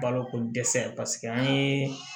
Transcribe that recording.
Balokodɛsɛ paseke an ye